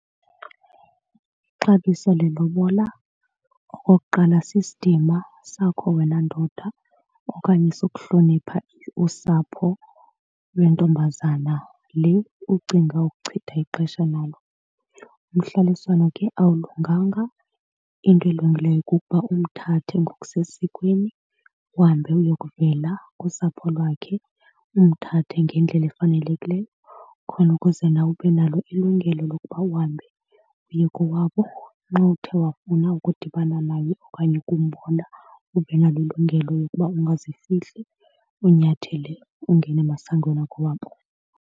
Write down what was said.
Ixabiso lelobola okokuqala sisidima sakho wena ndoda okanye sokuhlonipha usapho lwentombazana le ucinga ukuchitha ixesha lalo. Umhlaliswano ke alulunganga, into elungileyo kukuba umthathe ngokusesikweni uhambe uyokuvela kusapho lwakhe. Umthathe ngendlela efanelekileyo khona ukuze nawe ube nalo ilungelo lokuba uhambe uye kowabo xa uthe wafuna ukudibana naye okanye ukumbona. Ube nalo ilungelo lokuba ungazifihli, unyathele ungene emasangweni akowabo.